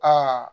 Aa